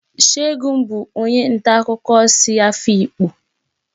Segun bụ onye nta akụkọ si Afikpo